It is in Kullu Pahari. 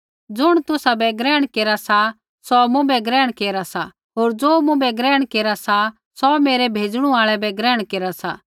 ज़ुण तुसाबै ग्रहण केरा सा सौ मुँभै ग्रहण केरा सा होर ज़ो मुँभै ग्रहण केरा सा सौ मेरै भेज़णु आल़ै बै ग्रहण केरा सा